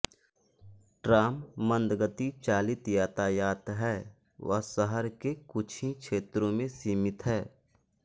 tram मंदगति चालित यातायात है व शहर के कुछ ही क्षेत्रों में सीमित है